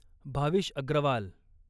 Bhavish Agarwal